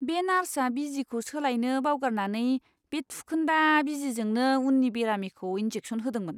बे नार्सआ बिजिखौ सोलायनो बावगारनानै बे थुखोन्दा बिजिजोंनो उननि बेरामिखौ इनजेकसन होदोंमोन!